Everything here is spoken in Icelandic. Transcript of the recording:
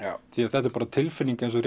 þetta er bara tilfinning eins og